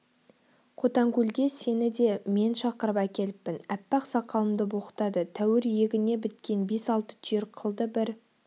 қотанкөлге сені де мен шақырып әкеліппін аппақ сақалымды боқтады тәуір иегіне біткен бес-алты түйір қылды бір